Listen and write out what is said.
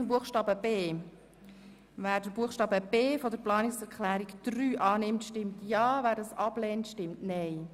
Ich fahre weiter mit dem Buchstaben b der Planungserklärung 3. Wer diesen annimmt, stimmt Ja, wer dies ablehnt, stimmt Nein.